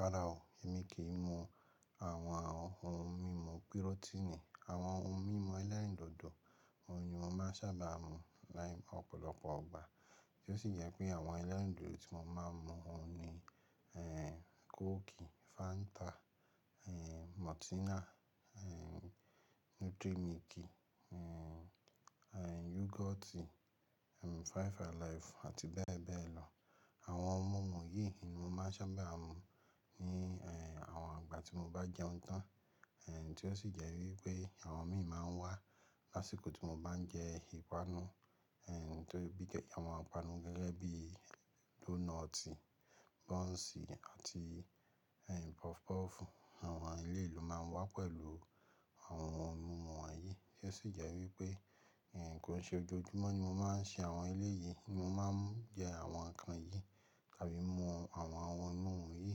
Rárá o, èmi kì í mu àwọn ohun mímu pírótínì. Àwọn ohun mímu ẹlẹ́rìndòdò, ohun ni mo máa n sábà mu láì ọ̀pọ̀lọpọ̀ ìgbà. Í ó sì jẹ́ wípé àwọn ẹlẹ́rìndòdò tí mo máa ń mu ohun ni, coke, Fanta, Maltina, Nutrimilk, yoghurt, Five Alive àti bẹ́ẹ̀ bẹ́ẹ̀ lọ. Àwọn ohun mímu yìí ni mo máa ń sábà mu ní, àwọn ìgbà tí mo bá jẹun tán, tí ó sì jẹ́ wípé àwọn míì máa ń wá lásìkò tí mo bá ń jẹ ìpanu, tó rí i bí jẹ, àwọn ìpanu gẹ́gẹ́ bíì dónọ̀tì, bọ́ǹsì àti ehn, pọfupọ́ọ̀fù. Àwọn eléyìí ló máa wá pẹ̀lú àwọn ohun mímu wọ̀nyí, kí ó sì jẹ́ wípé, kò n ṣe ojoojúmọ́ ni mo máa ń ṣe àwọn eléyìí ni mo máa ń jẹ àwọn ǹnkan yìí tàbí mu àwọn ohun mímu yìí.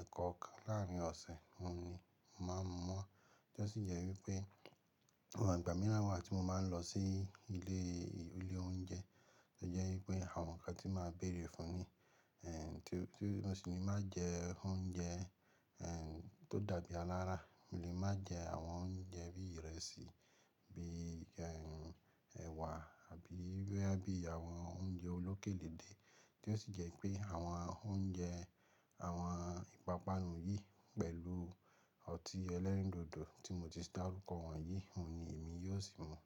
Ẹ̀ẹ̀kọ̀kan láàrín ọ̀sẹ̀ ohun ni mo máa ń mu wọ́n, kí ó sì jẹ́ wípé àwọn ìgbà mìíràn wá tí mo máa ń lọ sí ilé, ilé oúnjẹ, ó jẹ́ wípé àwọn ǹnkan tí máa béèrè fún ni, tí ó sì ni má jẹ oúnjẹ, tó dàbí alára, mò lè máa jẹ àwọn oúnjẹ bí ìrẹsì, bí ẹ̀wà àbí bóyá bí i àwọn oúnjẹ olókèléde. Kí ó sì jẹ́ wípé àwọn oúnjẹ, àwọn ìpápánu yìí pẹ̀lú ọtí ẹlẹ́rìndòdò tí mo ti dàrú kọ wọ̀nyí, òhun ni èmi yóò sì mu.